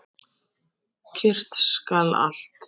Kyrrt skal allt.